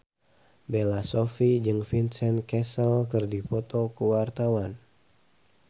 Bella Shofie jeung Vincent Cassel keur dipoto ku wartawan